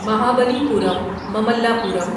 Mahabali پورم مملا پورم